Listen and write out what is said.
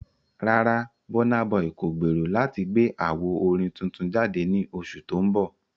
Rárá, Burna Boy kò gbèrò láti gbé àwo orin tuntun jáde ní oṣù tó ń bọ̀.